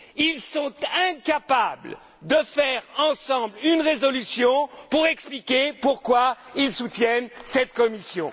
Ils sont incapables de faire ensemble une résolution pour expliquer pourquoi ils soutiennent cette Commission.